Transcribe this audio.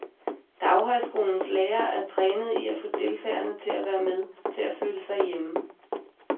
Daghøjskolens lærere er trænede i at få deltagerne til at være med, til at føle sig hjemme.